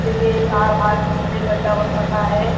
गड्डा बन रखा है।